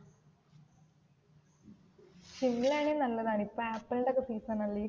ഷിംല ആണെങ്കിൽ നല്ലതാ ഇപ്പോ ആപ്പിളിന്റെ ഒക്കേ സീസൺ അല്ലേ